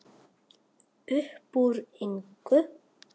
Uppúr engu?